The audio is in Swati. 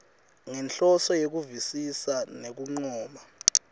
ngenhloso yekuvisisa nekuncoma